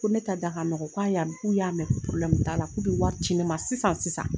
Ko ne ta da ka nɔgɔ k'a y'a mɛn, k'u y'a mɛn, ko probleme t'a la k'u bɛ wari di ne ma sisan sisan.